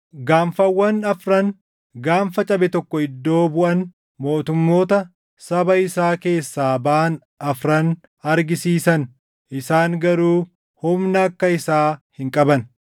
Gaanfawwan afran gaanfa cabe tokko iddoo buʼan mootummoota saba isaa keessaa baʼan afran argisiisan; isaan garuu humna akka isaa hin qaban.